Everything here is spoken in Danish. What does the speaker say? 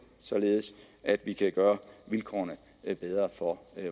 således at vi kan gøre vilkårene bedre for